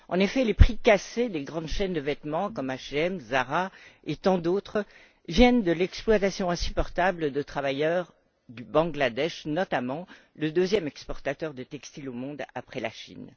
En effet, les prix cassés des grandes chaînes de vêtements comme HM, Zara et tant d'autres, viennent de l'exploitation insupportable de travailleurs du Bangladesh, notamment, qui est le deuxième exportateur de textiles au monde après la Chine.